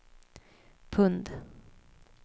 pund